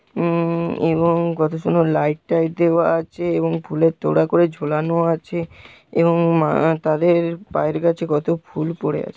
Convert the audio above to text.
উম এবং কত সুন্দর লাইট টাইট দেওয়া আছে এবং ফুলের তোড়া করে ঝুলানো আছে এবং মা আহ-তাদের পায়ের কাছে কত ফুলপড়ে আছে।